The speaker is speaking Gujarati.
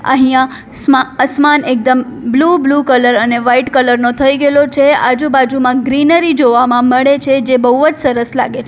અહીંયા અસ્મા આસમાન એકદમ બ્લુ બ્લુ કલર અને વાઈટ કલર નો થઈ ગેલો છે આજુબાજુમાં ગ્રીનરી જોવામાં મળે છે જે બહુવ જ સરસ લાગે છે.